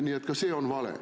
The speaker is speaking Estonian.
Nii et ka see on vale.